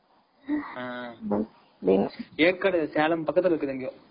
சேலம் பக்கத்துல இருக்குது